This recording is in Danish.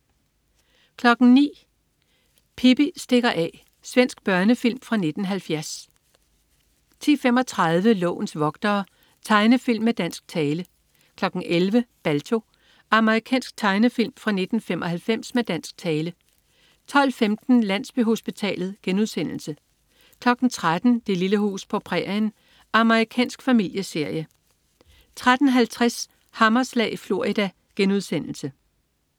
09.00 Pippi stikker af. Svensk børnefilm fra 1970 10.35 Lovens vogtere. Tegnefilm med dansk tale 11.00 Balto. Amerikansk tegnefilm fra 1995 med dansk tale 12.15 Landsbyhospitalet* 13.00 Det lille hus på prærien. Amerikansk familieserie 13.50 Hammerslag i Florida*